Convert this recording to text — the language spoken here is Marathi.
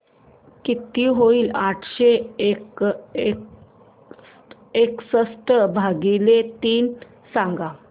किती होईल आठशे एकसष्ट भागीले तीन सांगा